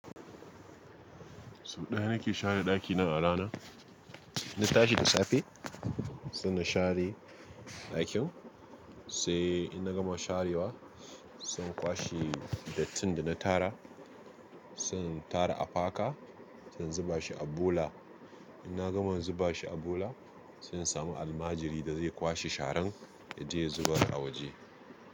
Sau ɗaya na ke share ɗaki na a rana. In na tashi da safe, sai na share ɗakin, sai in na gama sharewa, sai in kwashe dattin da na tara. Sai in tara a faka, sai in zuba shi a bula. In na gama zuba shi a bola, sai in samu almajiri da zai kwashe sharan ya je ya zubar a waje.